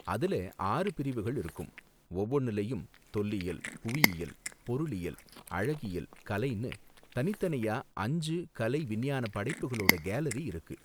அதுல ஆறு பிரிவுகள் இருக்கும், ஒவ்வொன்னுலயும் தொல்லியல், புவியியல், பொருளியல், அழகியல், கலைன்னு தனித்தனியா அஞ்சு கலை, விஞ்ஞான படைப்புகளோட கேலரி இருக்கு.